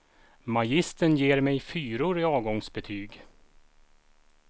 Magistern ger mig fyror i avgångsbetyg.